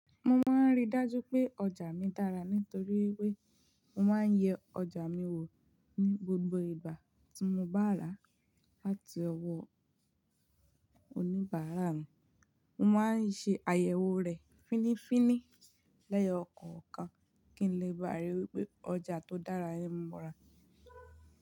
Mo máa ń rí dájú pé ọjà mi dára nítorí wípé mo máa ń yẹ ọjà mi wò ní gbogbo ìgbà tí mo bá rà á láti ọwọ́ oníbàárà mi. Mo máa ń ṣe àyẹ̀wò rẹ̀ fínrin finrin lẹ́yọ kọ̀ọ̀kan kí n lè ríi wípé ọjà tó dára ni mo rà.